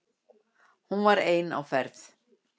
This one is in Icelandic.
Hún var ein á ferð.